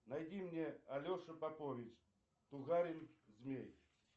найди мне алешу попович тугарин змей